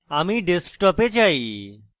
আমি desktop এ চাই